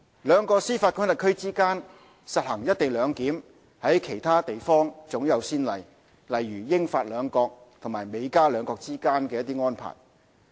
兩個司法管轄區之間實施"一地兩檢"，在其他地方早有先例，如英、法兩國及美、加兩國之間的安排。